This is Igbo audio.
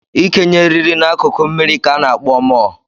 Ị kenye eiriri n'akụkụ mmiri ka ana akpọ mọọ.